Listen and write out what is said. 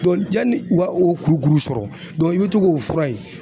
yanni u ka o kurukuru sɔrɔ i bɛ to k'o fura yen